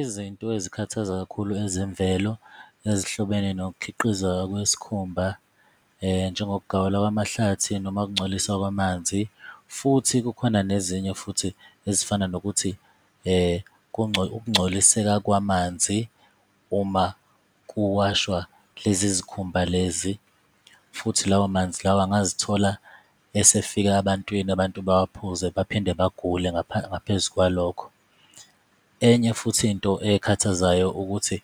Izinto ezikhathaza kakhulu ezemvelo ezihlobene nokukhiqizeka kwesikhumba, njengokugawulwa kwamahlathi noma ukungcoliswa kwamanzi, futhi kukhona nezinye futhi ezifana nokuthi ukungcoliseka kwamanzi uma kuwashwa lezi zikhumba lezi, futhi lawo manzi lawo angazithola esefika ebantwini abantu bawaphuze baphinde bagule ngapha ngaphezu kwalokho. Enye futhi into ekhathazayo ukuthi